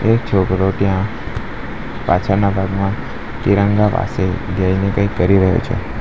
એક છોકરો ત્યાં પાછળના ભાગમાં તિરંગા પાસે જઈને કંઈ કરી રહ્યો છે.